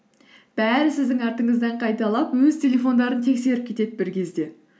бәрі сіздің артыңыздан қайталап өз телефондарын тексеріп кетеді бір кезде